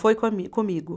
Foi comi comigo.